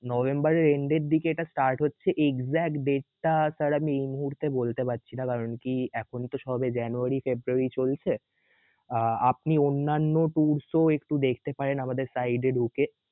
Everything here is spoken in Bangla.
নভেম্বর এর end দিকে এটা start হচ্ছে exect date টা sir আমি এই মুহূর্তে বলতে পারছি না কারণ কি এখন তো সবে জানুয়ারী ফেব্রুয়ারী চলছে আহ আপনি অনান্যা tours ও একটু দেখতে পারেন site এ ঢুকে